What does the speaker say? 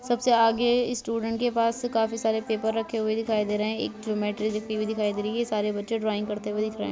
सबसे आगे स्टूडेंट के पास से काफी सारे पेपर रखे हुए दिखाई दे रहे हैं। एक ज्योमेट्री हुई दिखाई दे रही है। सारे बच्चे ड्राइंग करते हुए दिख रहे हैं।